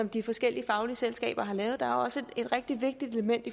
de forskellige faglige selskaber har lavet der er også et rigtig vigtigt element